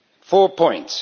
Four points.